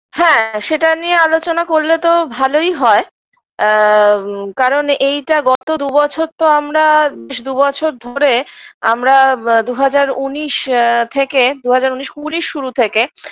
হ্যাঁ সেটা নিয়ে আলোচনা করলে তো ভালোই হয় আ কারণ এইটা গত দুবছর তো আমরা বেশ দুবছর ধরে আমরা আ দুহাজার ঊনিশ থেকে দুহাজার ঊনিশ কুড়ির শুরু থেকে